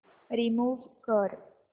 remove कर